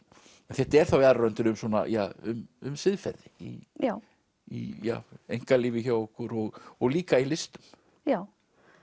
þetta er þá í aðra röndina um siðferði já í einkalífi hjá okkur og líka í listum já